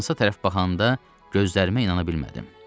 Şkansa tərəf baxanda gözlərimə inana bilmədim.